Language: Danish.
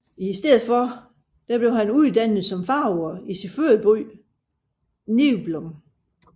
I stedet blev han uddannet som farver i sin fødeby Niblum